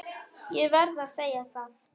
Ég verð að segja það.